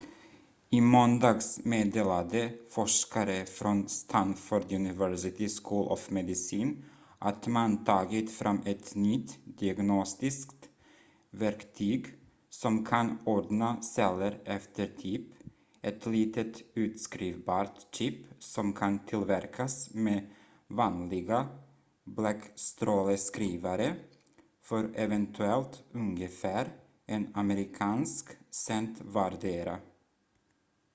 i måndags meddelade forskare från stanford university school of medicine att man tagit fram ett nytt diagnostiskt verktyg som kan ordna celler efter typ ett litet utskrivbart chip som kan tillverkas med vanliga bläckstråleskrivare för eventuellt ungefär en amerikansk cent vardera